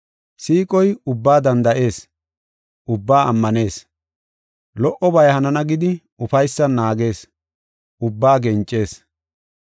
Siiqoy ubbaa danda7ees; ubbaa ammanees; lo77obay hanana gidi, ufaysan naagees; ubbaa gencees.